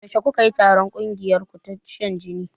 Yaushe kukayi taron ƙungiyarku ta shan jini?